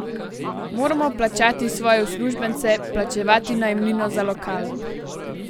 Moramo plačati svoje uslužbence, plačevati najemnino za lokal.